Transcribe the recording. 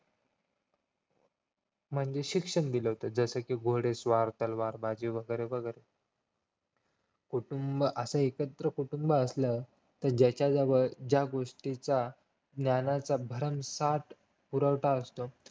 म्हणजे शिक्षण दिल होतं जस कि घोडेस्वार तलवारबाजी वगैरे वगैरे कुटुंब असं एकत्र कुटुंब असल्यास ज्याच्या जवळ ज्या गोष्टींचा ज्ञानाचा भरमसाठ पुरवठा असतो